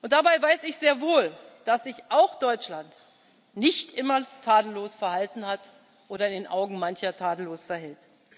Dabei weiß ich sehr wohl, dass sich auch Deutschland nicht immer tadellos verhalten hat oder in den Augen mancher tadellos verhält.